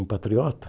Um patriota?